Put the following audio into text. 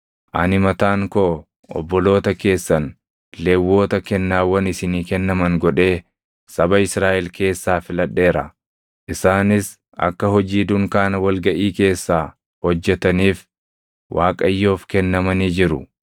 Ani mataan koo obboloota keessan Lewwota kennaawwan isinii kennaman godhee saba Israaʼel keessaa filadheera; isaanis akka hojii dunkaana wal gaʼii keessaa hojjetaniif Waaqayyoof kennamanii jiru.